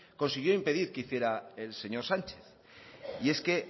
consiguió impedir que hiciera el señor sánchez y es que